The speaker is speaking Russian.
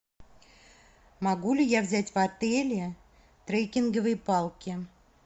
могу ли я взять в отеле треккинговые палки